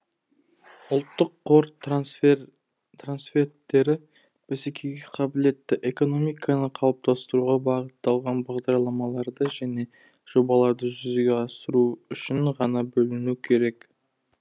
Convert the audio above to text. ұлттық қор трансферттері бәсекеге қабілетті экономиканы қалыптастыруға бағытталған бағдарламаларды және жобаларды жүзеге асыру үшін ғана бөлінуі керек